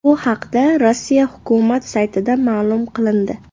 Bu haqda Rossiya hukumat saytida ma’lum qilindi .